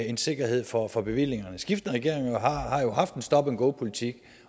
en sikkerhed for for bevillingerne skiftende regeringer har jo haft en stop and go politik